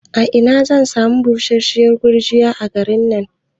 A ina zan sami busasshiyar gurgiya a garin nan?